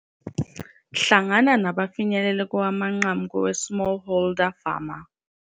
Hlangana nabafinyelele kowamanqamu koweSmallholder Farmer